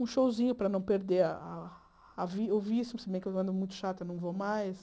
Um showzinho para não perder a... ouvir ouvir, se bem que eu ando muito chata, não vou mais.